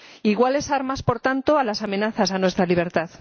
Iguales armas, por tanto, a las amenazas a nuestra libertad.